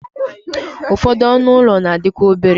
ụfọdụ ọnụ ụlọ na-adịkarị obere